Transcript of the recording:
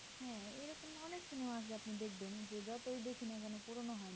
অনিক cinema আছে যা আপনি দেখবেন যে যতই দেখি না কেন পুরোনো হয় না